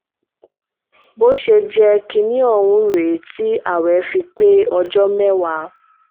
bó ṣe ń jẹ́ kinní ohun rèé tí ààwẹ̀ fi pé ọjọ́ mẹ́wàá